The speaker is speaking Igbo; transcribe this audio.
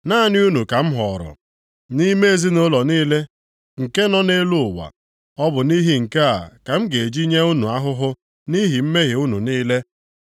“Naanị unu ka m họọrọ nʼime ezinaụlọ niile nke nọ nʼelu ụwa; Ọ bụ nʼihi nke a ka m ga-eji nye unu ahụhụ nʼihi mmehie unu niile.”